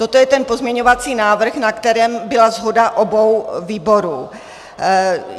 Toto je ten pozměňovací návrh, na kterém byla shoda obou výborů.